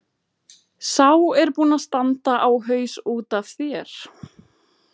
Sá er búinn að standa á haus út af þér!